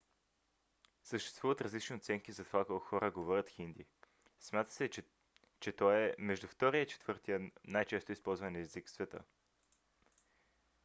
съществуват различни оценки за това колко хора говорят хинди. смята се че той е между втория и четвъртия най-често използван език в света